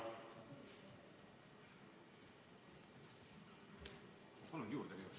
Palun ka igaks juhuks aega juurde!